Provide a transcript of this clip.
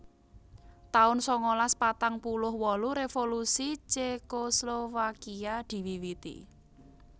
taun sangalas patang puluh wolu Revolusi Cekoslowakia diwiwiti